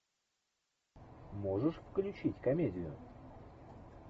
можешь включить комедию